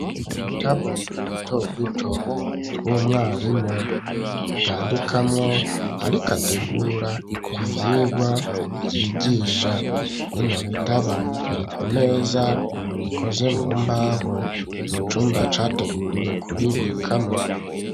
Udutabo duto duto tw'umwarimu yandikamwo ariko ategura ivyirwa ryigisha bino bitabo iri ku meza ikoze mu mbaho mu cumba categuriwe ku bibikamwo